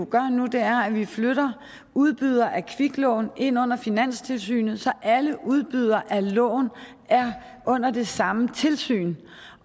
gør nu er at vi flytter udbydere af kviklån ind under finanstilsynet så alle udbydere af lån er under det samme tilsyn